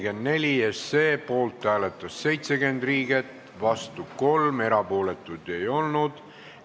Hääletustulemused Poolt hääletas 70 Riigikogu liiget, vastu oli 3, erapooletuid ei olnud.